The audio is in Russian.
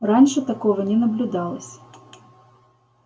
раньше такого не наблюдалось